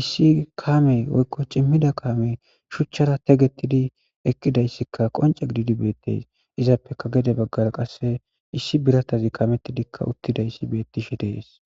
issi kamey woyiko cimida kamey shuchara teqetidi eqidayiska qonice gididi betes izape gede bagara qasi issi biratazika kameti utidayis beteshe de'es